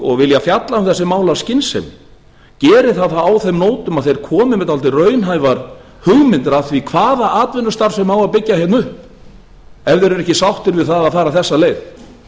og vilja fjalla um þessi mál á skynsemi geri það þá á þeim nótum að þeir komi með dálítið raunhæfar hugmyndir að því hvaða atvinnustarfsemi á að byggja hérna upp ef þeir eru ekki sáttir við það að fara þessa leið